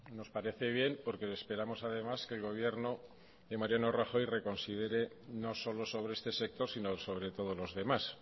nos parece bien porque esperamos además que el gobierno de mariano rajoy reconsidere no solo sobre este sector sino sobre todos los demás